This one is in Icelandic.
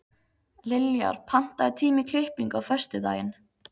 Liljar, pantaðu tíma í klippingu á föstudaginn.